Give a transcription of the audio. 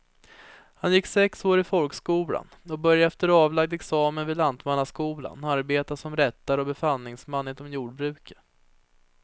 Han gick sex år i folkskolan och började efter avlagd examen vid lantmannaskolan arbeta som rättare och befallningsman inom jordbruket.